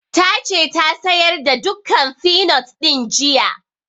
Ta ce ta sayar da dukkan finot ɗin jiya